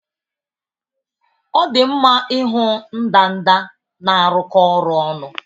Ọ dị mma ịhụ ndanda na-arụkọ ọrụ ọnụ